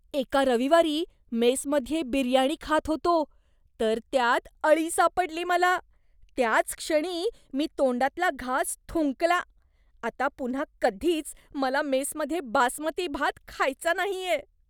एका रविवारी मेसमध्ये बिर्याणी खात होतो, तर त्यात अळी सापडली मला, त्याच क्षणी मी तोंडातला घास थुंकला. आता पुन्हा कधीच मला मेसमध्ये बासमती भात खायचा नाहीये.